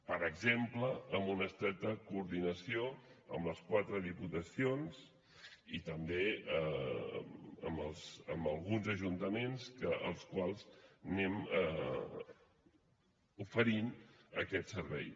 per exemple amb una estreta coordinació amb les quatre diputacions i també amb alguns ajuntaments als quals anem oferint aquest servei